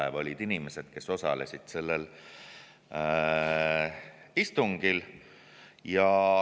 Need olid inimesed, kes osalesid sellel istungil.